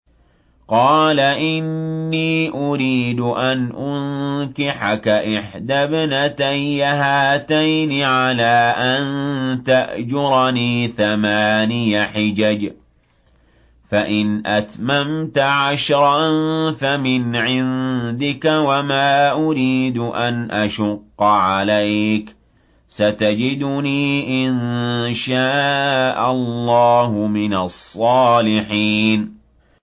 قَالَ إِنِّي أُرِيدُ أَنْ أُنكِحَكَ إِحْدَى ابْنَتَيَّ هَاتَيْنِ عَلَىٰ أَن تَأْجُرَنِي ثَمَانِيَ حِجَجٍ ۖ فَإِنْ أَتْمَمْتَ عَشْرًا فَمِنْ عِندِكَ ۖ وَمَا أُرِيدُ أَنْ أَشُقَّ عَلَيْكَ ۚ سَتَجِدُنِي إِن شَاءَ اللَّهُ مِنَ الصَّالِحِينَ